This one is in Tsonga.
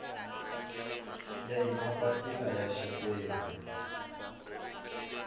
ya hi mapapila ya xiphemu